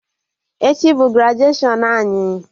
Echi bụ grajuashọn anyị